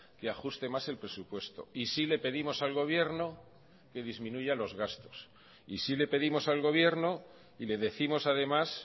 que ajuste más el presupuesto y sí le pedimos al gobierno que disminuya los gastos y sí le pedimos al gobierno y le décimos además